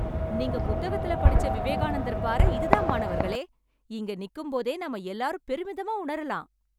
நீங்க புத்தகத்துல படிச்ச விவேகானந்தர் பாறை இது தான் மாணவர்களே, இங்க நிக்கும் போதே நாம எல்லாரும் பெருமிதமா உணரலாம்.